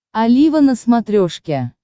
олива на смотрешке